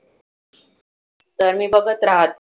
तर मी बघत राहते.